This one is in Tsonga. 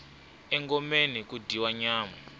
engomeni ku dyiwa nyama